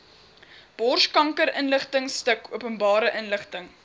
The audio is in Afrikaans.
borskankerinligtingstuk openbare inligting